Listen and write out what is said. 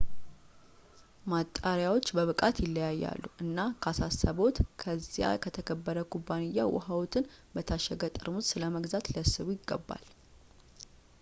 ማጣሪያዎች በብቃት ይለያያሉ እና ካሳሰብዎት ከዚያ ከተከበረ ኩባንያ ውሃዎትን በታሸገ ጠርሙስ ስለመግዛት ሊያስቡ ይገባል